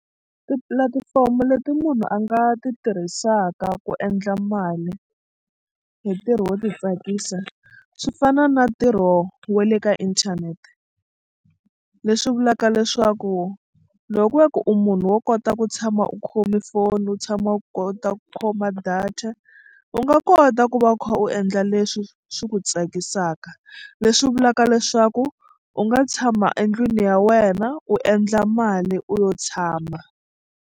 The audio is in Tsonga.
Tipulatifomo leti munhu a nga ti tirhisaka ku endla mali hi ntirho wo titsakisa swi fana na ntirho wa le ka inthanete leswi vulaka leswaku loko ku ve ku u munhu wo kota ku tshama u khome foni u tshama u kota ku khoma data u nga kota ku va u kha u endla leswi swi ku tsakisaka leswi vulaka leswaku u nga tshama endlwini ya wena u endla mali u yo tshama.